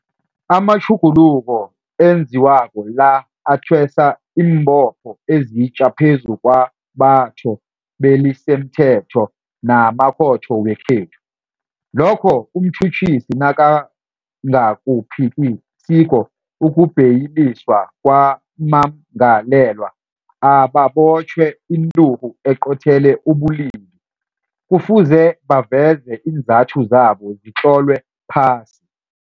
Amatjhuguluko enziwako la athwesa iimbopho ezitja phezu kwabathobelisimthetho namakhotho wekhethu. Lokho umtjhutjhisi nakangakuphikisiko ukubheyiliswa kwabammangalelwa ababotjhelwe inturhu eqothele ubulili, kufuze baveze iinzathu zabo zitlolwe phasi.